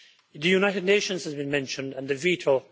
The United Nations has been mentioned, and the veto.